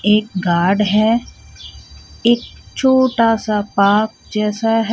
एक गॉर्ड है एक छोटासा पार्क जैसा है.